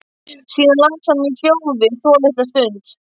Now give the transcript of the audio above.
Síðan las hann í hljóði svolitla stund.